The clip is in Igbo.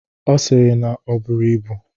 Ọ sịrị na o buru ibu.